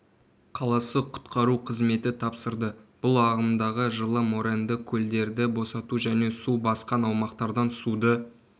қаласы құтқару қызметі тапсырды бұл ағымдағы жылы моренді көлдерді босату және су басқан аумақтардан суды